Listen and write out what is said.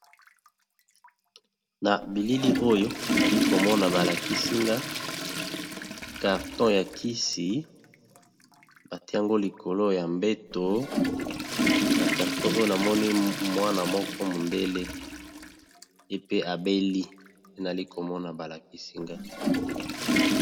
na bilili oyo nali komona balakisinga karton ya kisi batiango likolo ya mbeto na karton oyo namoni mwana moko mondele epe abeli nali komona balakisinga